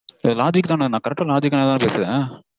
இது logic -தான? நா correct -ஆ logic -ஆதான பேசறேன்?